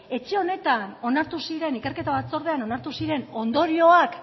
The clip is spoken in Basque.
etxe honetan onartu ziren ikerketa batzordean onartu ziren ondorioak